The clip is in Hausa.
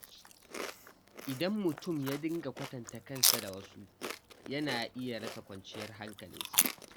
Idan mutum ya dinga kwatanta kansa da wasu, yana iya rasa kwanciyar hankalinsa.